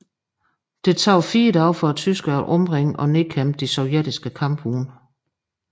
Det tog fire dage for tyskerne at omringe og nedkæmpe de sovjetiske kampvogne